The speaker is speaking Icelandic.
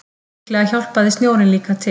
Líklega hjálpaði snjórinn líka til.